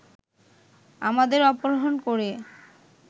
আমাদের অপহরণ করে